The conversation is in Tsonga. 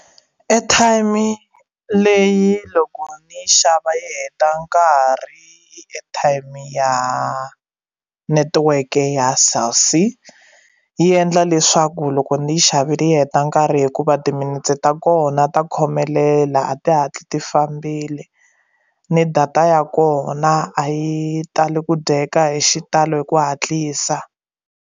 Airtime leyi loko ni yi xava yi heta nkarhi airtime ya netiweke ya Cell C yi endla leswaku loko ni yi xavile yi heta nkarhi hikuva timinetse ta kona ta khomelela a ti hatli ti fambile ni data ya kona a yi tali ku dyeka hi xitalo hi ku hatlisa.